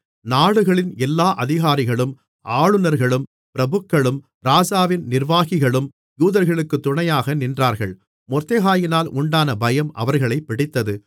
நாடுகளின் எல்லா அதிகாரிகளும் ஆளுநர்களும் பிரபுக்களும் ராஜாவின் நிர்வாகிகளும் யூதர்களுக்குத் துணையாக நின்றார்கள் மொர்தெகாயினால் உண்டான பயம் அவர்களைப் பிடித்தது